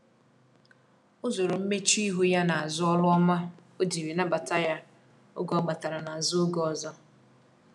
o zoro mmechuihu ya na azu olu ọma ojiri nabata ya oge ọ batara na azụ oge ọzọ